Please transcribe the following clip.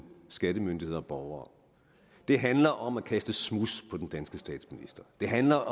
skattemyndighed og borger det handler om at kaste smuds på den danske statsminister det handler